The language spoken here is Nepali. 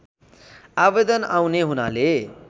आवेदन आउने हुनाले